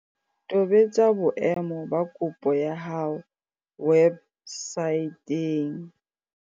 Tobetsa boemo ba kopo ya hao websaeteng.